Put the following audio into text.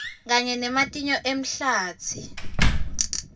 kanye nematinyo emahlatsi